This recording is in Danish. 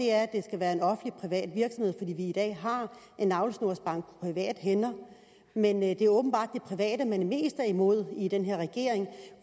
er at det skal være en offentlig privat virksomhed fordi i dag har en navlesnorsbank på private hænder men det er åbenbart det private man er mest imod i den her regering